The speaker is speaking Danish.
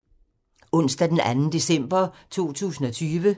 Onsdag d. 2. december 2020